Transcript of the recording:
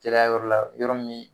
Teriya yɔrɔ la yɔrɔ min